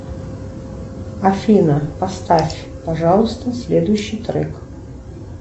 афина поставь пожалуйста следующий трек